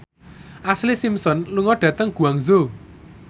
Ashlee Simpson lunga dhateng Guangzhou